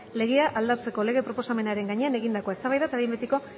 legea aldatzeko lege proposamenaren gainean egindakoa eztabaida eta behin betiko